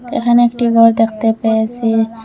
এখানে একটি ঘর দেখতে পেয়েছি।